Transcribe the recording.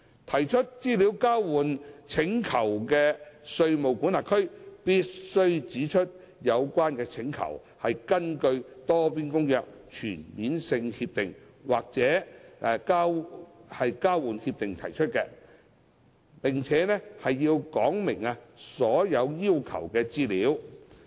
提出資料交換請求的稅務管轄區必須指出有關請求，是根據《多邊公約》、全面性協定或交換協定而提出，並且述明所要求的資料。